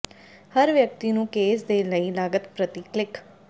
ਹਰ ਵਿਅਕਤੀ ਨੂੰ ਕੇਸ ਦੇ ਲਈ ਲਾਗਤ ਪ੍ਰਤੀ ਕਲਿੱਕ